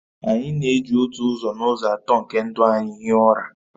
Anyi na-eji otu ụzọ n'ụzọ atọ nke ndụ ya hie ụra